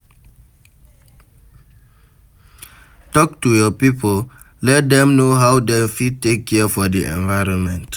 Talk to your pipo, let dem know how dem fit take care for di environment